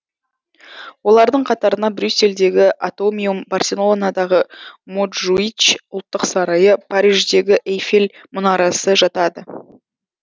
олардың қатарына брюссельдегі атомиум барселонадағы монжуич ұлттық сарайы париждегі эйфель мұнарасы жатады